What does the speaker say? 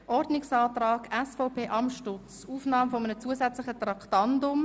Mit dem ersten Antrag seitens der SVP wird die Aufnahme eines zusätzlichen Traktandums beantragt.